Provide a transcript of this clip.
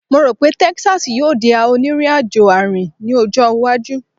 Mo ro pe Texas yoo di a oniriajo aarin ni ojo iwaju